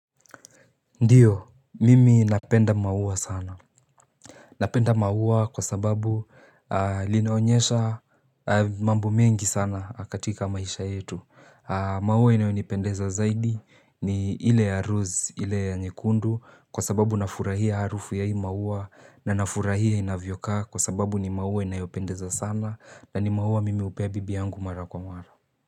Ndiyo, mimi napenda maua sana. Napenda maua kwa sababu linaonyesha mambo mengi sana katika maisha yetu. Maua inayonipendeza zaidi ni ile ya rose, ile ya nyekundu. Kwa sababu nafurahia harufu ya hii maua na nafurahia inavyokaa kwa sababu ni maua inayopendeza sana na ni maua mimi hupea bibi yangu mara kwa mara.